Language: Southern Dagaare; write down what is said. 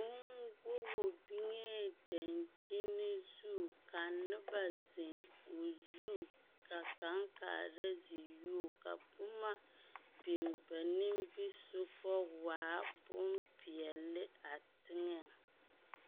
Oooŋ govu biŋee dankyini zu ka noba zeŋ o zu ka kaŋ kaara ze yuo, ka boma biŋ ba nimbisoga waa boŋ peɛle a teŋɛŋ. 13382